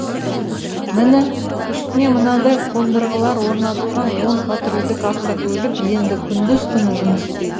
міне үстіне мынадай қондырғылар орнатылған он патрульдік автокөлік енді күндіз түні жұмыс істейді